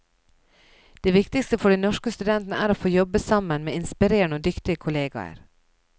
Det viktigste for de norske studentene er å få jobbe sammen med inspirerende og dyktige kolleger.